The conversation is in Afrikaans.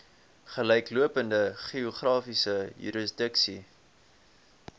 gelyklopende geografiese jurisdiksie